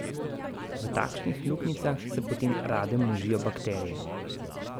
V takšnih luknjicah se potem rade množijo bakterije.